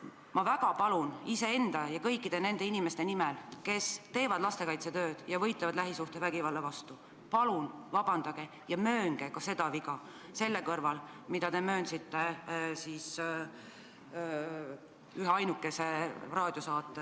Ma väga palun iseenda ja kõikide nende inimeste nimel, kes teevad lastekaitsetööd ja võitlevad lähisuhtevägivalla vastu: palun vabandage ja möönge ka seda viga, selle kõrval, mida te möönsite ühe raadiosaate ...